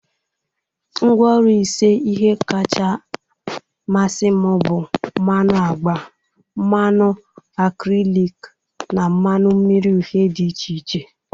Ngwa Oru ise ihe kacha masị m bụ mmanụ agba, mmanu akrelik, na mmanu mmiri uhie di iche iche.